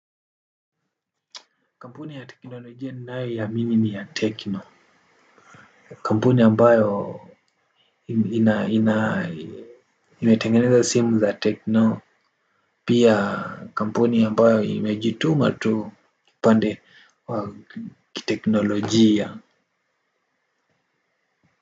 Kampuni ya teknolojia nanayoiamini ni ya tekno. Kampuni ambayo ina ina imetengeneza simu za tekno. Pia kampuni ambayo imejituma tu upande wa kiteknolojia.